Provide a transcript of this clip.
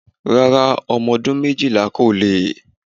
Rárá ọmọ ọdún méjìlá kò lè.